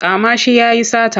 Kama shi ya yi sata!